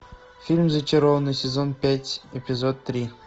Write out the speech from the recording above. фильм зачарованные сезон пять эпизод три